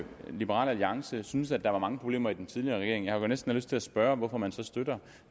liberal alliance synes at der var mange problemer i den tidligere regering jeg har næsten lyst til at spørge hvorfor man så støtter